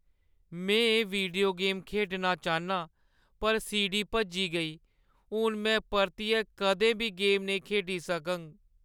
में एह् video game खेढना चाह्न्नां पर सीडी भज्जी गेई। हून में परतियै कदें बी गेम नेईं खेढी सकङ।